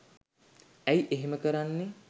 ඇයි එහෙම කරන්නෙ